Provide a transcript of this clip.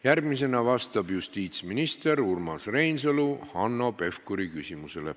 Järgmisena vastab justiitsminister Urmas Reinsalu Hanno Pevkuri küsimusele.